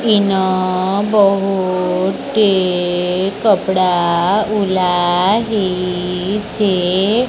ଇନ ବହୁଟିଏ କପଡ଼ା ଉଲା ହେଇଛି।